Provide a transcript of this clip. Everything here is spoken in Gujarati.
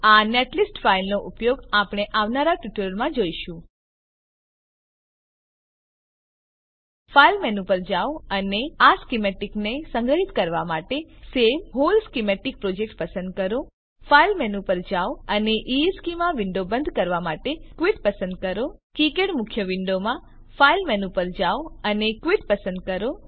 આ નેટલિસ્ટ ફાઈલનો ઉપયોગ આપણે આવનારા ટ્યુટોરીયલમાં જોઈશું ફાઈલ મેનૂ પર જાઓ અને આ સ્કીમેટીકને સંગ્રહિત કરવા માટે સવે વ્હોલ સ્કીમેટિક પ્રોજેક્ટ પસંદ કરો ફાઈલ મેનૂ પર જાઓ અને ઇશ્ચેમાં વિન્ડોને બંધ કરવા માટે ક્વિટ પસંદ કરો કિકાડ મુખ્ય વિન્ડોમાં ફાઈલ મેનૂ પર જાઓ અને ક્વિટ પસંદ કરો